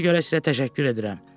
Buna görə sizə təşəkkür edirəm.